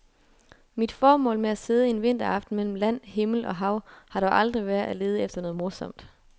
Mit formål med at sidde en vinteraften mellem land, himmel og hav har dog aldrig været at lede efter noget morsomt.